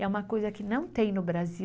É uma coisa que não tem no Brasil.